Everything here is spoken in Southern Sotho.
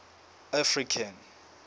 african